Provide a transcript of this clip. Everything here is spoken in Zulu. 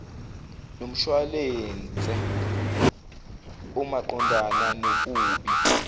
nomshuwalense omaqondana nokubi